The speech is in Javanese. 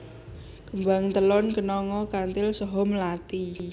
Kembang telon kenanga kanthil saha mlathi